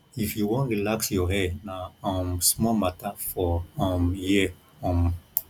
if you wan relax your hair na um small matter for um here um